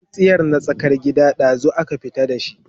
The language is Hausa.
tsintsiyar na tsakar gida, ɗazun aka fitar da shi